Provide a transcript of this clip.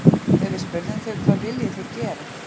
Þegar við spurðum þau hvað viljið þið gera?